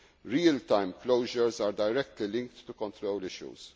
of stocks. Real time closures are directly linked to control